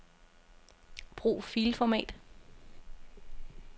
Brug filformat.